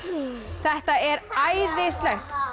þetta er æðislegt